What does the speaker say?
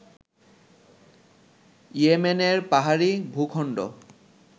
ইয়েমেনের পাহাড়ী ভূখন্ড